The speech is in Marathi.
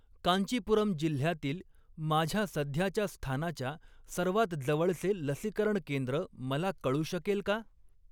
कांचीपुरम जिल्ह्यातील माझ्या सध्याच्या स्थानाच्या सर्वात जवळचे लसीकरण केंद्र मला कळू शकेल का?